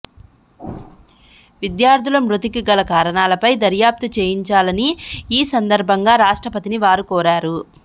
విద్యార్థుల మృతికి గల కారణాలపై దర్యాప్తు చేయించాలని ఈ సందర్భంగా రాష్ట్రపతిని వారు కోరారు